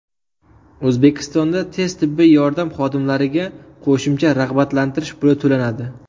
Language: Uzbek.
O‘zbekistonda tez tibbiy yordam xodimlariga qo‘shimcha rag‘batlantirish puli to‘lanadi.